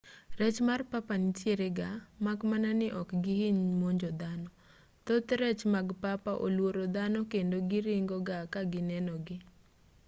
rech mar papa nitiere ga mak mana ni ok gihiny monjo dhano thoth rech mag papa oluoro dhano kendo giringo ga ka gineno gi